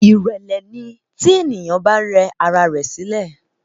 Ìrẹ́lẹ́ ni tí èèyàn bá rẹ ara rẹ sílẹ̀